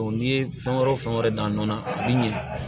n'i ye fɛn wɛrɛw fɛn wɛrɛ dan nɔ na a bi ɲina